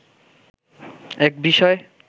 এক বিষয়